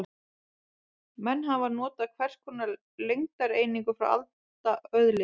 Menn hafa notað einhvers konar lengdareiningar frá alda öðli.